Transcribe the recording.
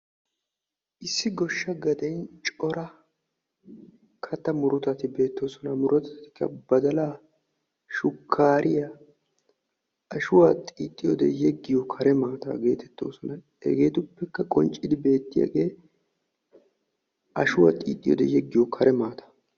Issi goshsha gaden cora katta murutati beettoosona. Murutatikka badalaa, shukkaariya, ashuwa xiixxiyode yeggiyo kare maataa geetettoosona. Hegeetuppekka qonccidi beettiyagee ashuwa xiixxiyode yeggiyo kare maataa.